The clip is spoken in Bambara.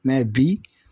bi